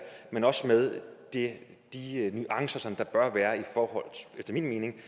men også med de nuancer som der efter min mening